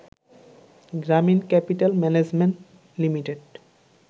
Gramin capital management limited